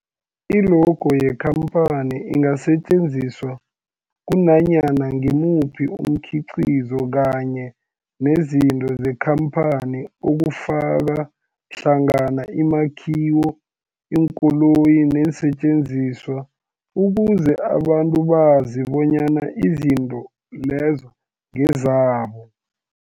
I-logo yekhamphani ingasetjenziswa kunanyana ngimuphi umkhiqizo kanye nezinto zekhamphani okufaka hlangana imakhiwo, iinkoloyi neensentjenziswa ukuze abantu bazi bonyana izinto lezo ngezabo.